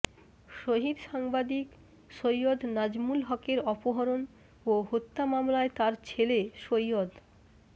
শহীদ সাংবাদিক সৈয়দ নাজমুল হকের অপহরণ ও হত্যা মামলায় তার ছেলে সৈয়দ